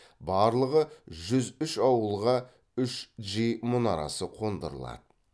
барлығы жүз үш ауылға үш джи мұнарасы қондырылады